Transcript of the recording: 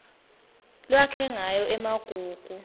lwakhe ngayo emagugu